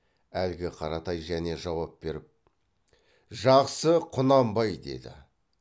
әлгі қаратай және жауап беріп жақсы құнанбай деді